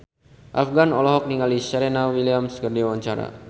Afgan olohok ningali Serena Williams keur diwawancara